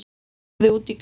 Ég horfði út í garðinn.